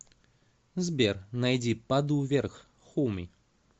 сбер найди падаю вверх хоуми